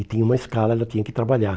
E tinha uma escala, ela tinha que trabalhar.